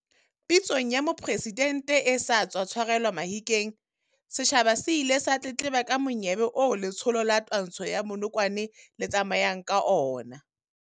Pitsong ya Mopresidente e sa tswa tshwarelwa Mahikeng, setjhaba se ile sa tletleba ka monyebe oo letsholo la twantsho ya bonokwane le tsamayang ka ona.